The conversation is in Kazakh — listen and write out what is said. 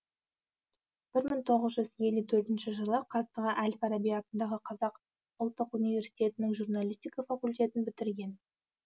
бір мың тоғыз жүз елу төртінші жылы қазіргі әл фараби атындағы қазақ ұлттық университетінің журналистика факультетін бітірген